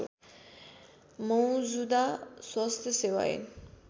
मौजुदा स्वास्थ्य सेवा ऐन